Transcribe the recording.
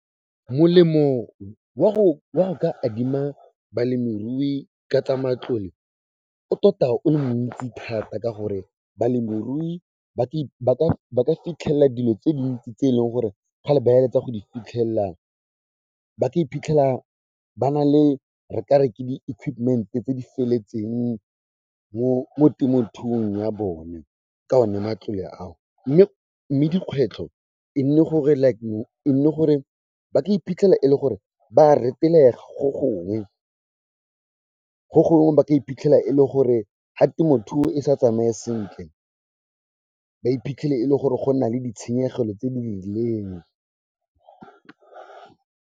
Molemo wa go ka adima balemirui ka tsa matlole, o tota o le montsi thata ka gore balemirui ba ka fitlhelela dilo tse dintsi tse e leng gore kgale ba eletsa go di fitlhelela, ba ka iphitlhela ba na le, re ka re ke di equipment-e tse di feletseng mo temothuong ya bone ka one matlole ao. Mme dikgwetlho e nne gore like, e nne gore ba ka iphitlhela e le gore ba retelelwa go gongwe. Go gongwe ba ka iphitlhela e le gore ga temothuo e sa tsamaye sentle, ba iphitlhele e le gore go nna le ditshenyegelo tse di rileng.